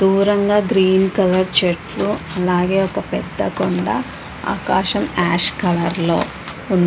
దూరంగా green colour చెట్లు మరి యొక్క పెద్ద కొండా ఆకాశం ఆష్ కలర్ లో ఉంది .